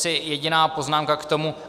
Asi jediná poznámka k tomu.